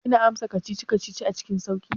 Kina amsa kacici-kacici cikin sauƙi?